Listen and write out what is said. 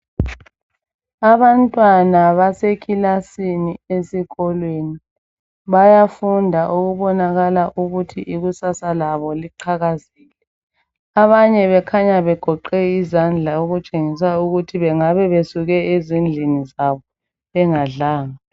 Abantwana basekilasini esikolweni bayafunda okubonakala ukuthi ikusasa labo liqhakazile. Abanye bekhanya begoqe izandla okutshengisa ukuthi bengabe besuke ezindlini zabo bengadlanga.